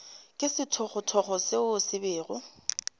ke sethogothogo seo se bego